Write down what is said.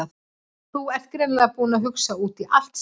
Þú ert greinilega búinn að hugsa út í allt- sagði hún.